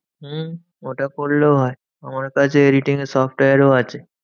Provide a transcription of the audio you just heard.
হম ওটা করলেও হয়। আমার কাছে editing এর software ও আছে।